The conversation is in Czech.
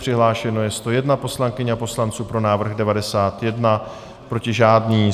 Přihlášeno je 101 poslankyň a poslanců, pro návrh 91, proti žádný.